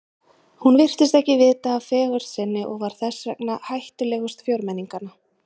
Hún virtist ekki vita af fegurð sinni og var þess vegna hættulegust fjórmenninganna.